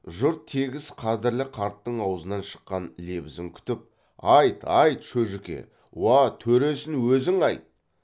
жұрт тегіс қадірлі қарттың аузынан шыққан лебізін күтіп айт айт шөжіке уа төресін өзің айт